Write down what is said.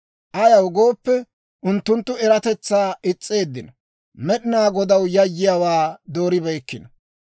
Ayaw gooppe, unttunttu eratetsaa is's'eeddino; Med'inaa Godaw yayyiyaawaa dooribeykkino.